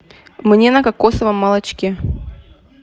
мне на кокосовом молочке